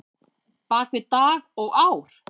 bak við dag og ár?